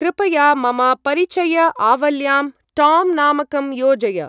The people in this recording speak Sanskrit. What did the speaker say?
कृपया मम परिचय-आवल्यां टाम्‌-नामकं योजय।